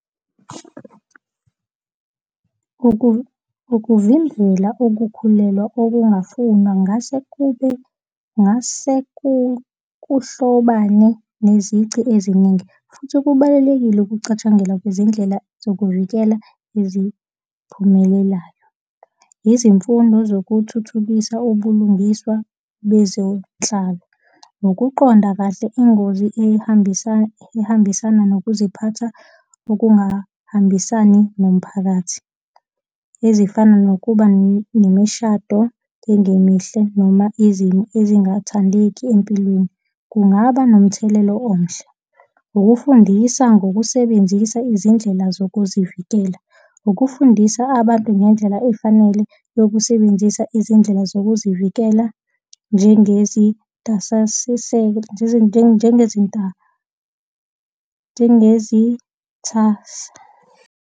Ukuvimbela ukukhulelwa obungafunwa ngase ngase kuhlobane nezici eziningi. Futhi kubalulekile ukucatshangelwa kwezindlela zokuvikela iziphumelelayo. Izimfundo zokuthuthukisa ubulungiswa bezetshalo, nokuqonda kahle ingozi ihambisana, ihambisana nokuziphatha, okungahambisani nomphakathi ezifana nokuba nemishado engemihle noma ezingathandeki empilweni, kungaba nomthelela omuhle. Ukufundisa ngokusebenzisa izindlela zokuzivikela. Ukufundisa abantu ngendlela efanele yokusebenzisa izindlela zokuzivikela, njengezintasiselo njengezitha.